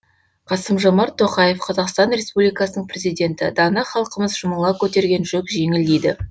қасым жомарт тоқаев қазақстан республикасының президенті дана халқымыз жұмыла көтерген жүк жеңіл дейді